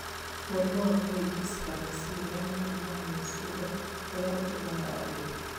Mũrimũ wa kũhĩngĩcĩka meciria nĩ mũrimũ wa meciria ũrĩa ũtũmaga andũ